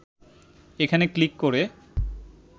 এখানে ক্লিক করে